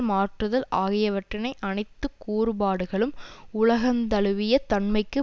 மாற்றுதல் ஆகியவற்றினை அனைத்து கூறுபாடுகளும் உலகந்தழுவிய தன்மைக்கு